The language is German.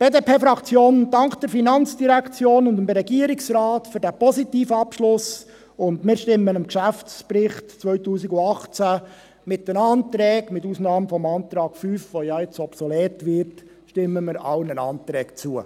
Die BDPFraktion dankt der FIN und dem Regierungsrat für diesen positiven Abschluss, und wir stimmen dem Geschäftsbericht 2018 mit allen Anträgen, mit Ausnahme des Antrags 5, der nun ja obsolet wird, zu.